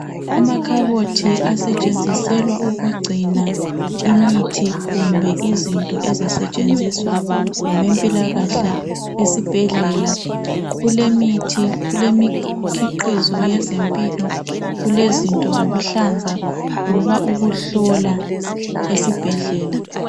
Amakhabothi asetshenziselwa ukugcina imithi kumbe izinto ezisetshenziswa ngabempilakahle esibhedlela. kulemithi kulemikhiqizo yezempilo, kulezinto zokuhlanza loba ukuhlola esibhedlela.